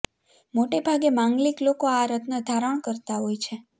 મોટે ભાગે માંગલિક લોકો આ રત્ન ધારણ કરતા હોય છે